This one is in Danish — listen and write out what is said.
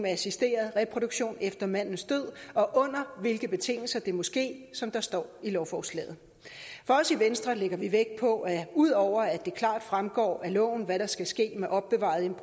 assisteret reproduktion efter mandens død og under hvilke betingelser det må ske som der står i lovforslaget for os i venstre lægger vi vægt på ud over at det klart fremgår af loven hvad der skal ske med opbevarede